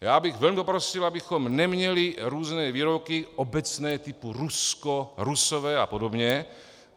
Já bych velmi prosil, abychom neměli různé výroky obecné typu Rusko, Rusové a podobně.